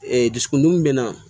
dusukun dimi bɛ na